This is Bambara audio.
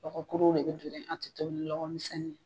Lɔkɔ kuruw de be an te tobi ni lɔkɔmisinnin ye.